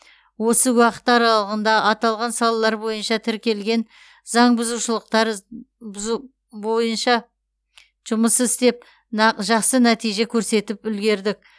осы уақыт аралығында аталған салалар бойынша тіркелген заң бұзушылықтар бойынша жұмыс істеп жақсы нәтиже көрсетіп үлгердік